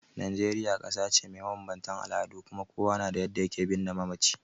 Najeriya kasa ce mai mabanbantan al'adu kuma kowa na da yadda ya ke birne mamaci.